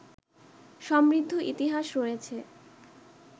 সমৃদ্ধ ইতিহাস রয়েছে